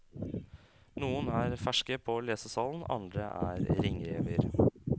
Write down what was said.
Noen er ferske på lesesalen, andre er ringrever.